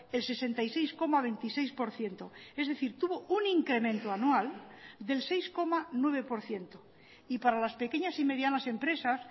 el sesenta y seis coma veintiséis por ciento es decir tuvo un incremento anual del seis coma nueve por ciento y para las pequeñas y medianas empresas